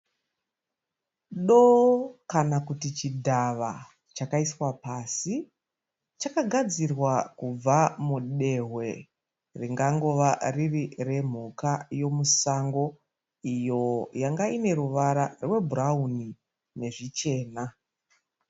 Doo kana kuti chidhava chakaiswa pasi. Chakagadzirwa kubva mudehwe ringangova riri remhuka yomusango iyo yanga ine ruvara rwebhurawuni nezvichena.